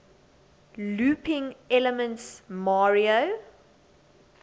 looping elements mario